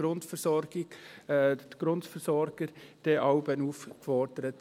Da sind jeweils auch die Grundversorger aufgefordert.